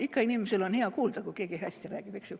Ikka on inimesel hea kuulda, kui keegi hästi räägib, eks ju.